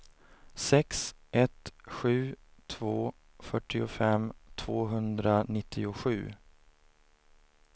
sex ett sju två fyrtiofem tvåhundranittiosju